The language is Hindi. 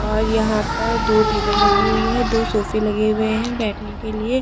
और यहां पर दो टेबल लगी हुई है दो सोफे लगे हुए हैं बैठने के लिए--